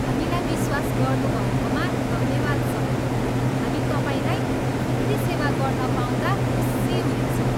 हामीलाई विश्वास गर्नुभएकोमा धन्यवाद सर। हामी तपाईँलाई फेरि सेवा गर्न पाउँदा खुसी हुनेछौँ।